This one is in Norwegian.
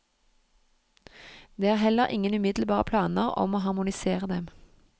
Det er heller ingen umiddelbare planer om å harmonisere dem.